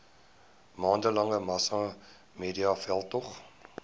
maande lange massamediaveldtog